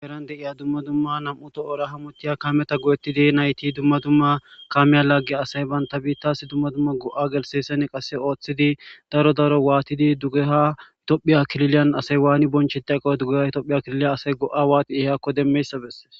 Heeran deiya dumma dumma nam'uto oora hamotiya kaameta go'ettidi nayti dumma dumma kaamiya lagge asay banta biittaasi dumma dumma go'a gelseesen qasse ooththidi daro daro waatidi dugeha tophi klilyan asay waani bonche taqoyo dugehay tohphi aklilya asay go'a waati ehekko demmeyssabes.